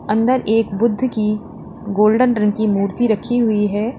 अंदर एक बुद्ध की गोल्डन रंग की मूर्ति रखी हुई है।